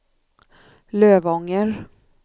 Lövånger